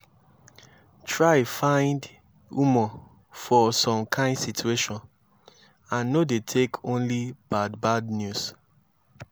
try find humor for som kain situation and no dey take only bad bad news